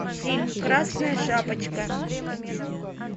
фильм красная шапочка